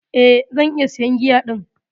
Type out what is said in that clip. Eh, zan iya siyan giya din.